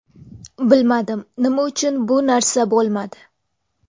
Bilmadim, nima uchun bu narsa bo‘lmadi?